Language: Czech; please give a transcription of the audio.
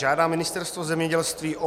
Žádá Ministerstvo zemědělství o